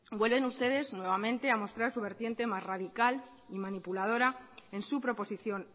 vuelven ustedes nuevamente a mostrar su vertiente más radical y manipuladora en su proposición